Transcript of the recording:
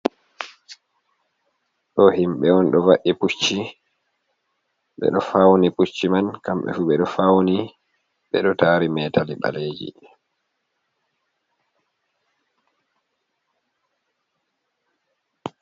Do himɓe on do va’i pucci ɓeɗo fauni pucci man kamɓe fu ɓeɗo fauni ɓeɗo tari metali ɓaleji.